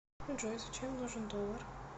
джой зачем нужен доллар